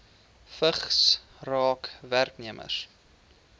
vigs raak werknemers